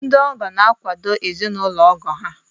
Ndị ọgọ na-akwàdò ezinaụlọ ọgọ ha